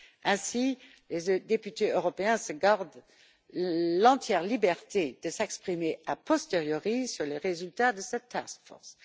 Ainsi, les députés européens se gardent l'entière liberté de s'exprimer a posteriori sur les résultats de cette task force.